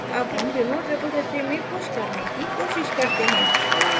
अब हम remote repository में push करने की कोशिश करते हैं